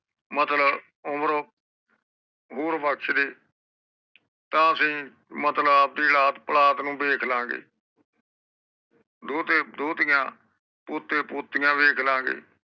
ਮਤਲਬ ਓਵਰ ਓ ਹੋਰ ਬਕਸ਼ ਦੇ ਤਾ ਅਸੀ ਮਤਲਬ ਆਪਣੀ ਔਲਾਦ ਪੋਲਾਦ ਨੂੰ ਦੇਖ ਲਾਗੈ ਦੋਤੇ ਦੋਤੀਆਂ ਪੋਤੇ ਪੋਤਿਆਂ ਵੇਖ ਲਾਗੇ